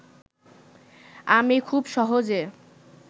আমি খুব সহজে